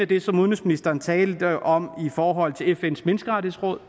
det som udenrigsministeren talte om i forhold til fns menneskerettighedsråd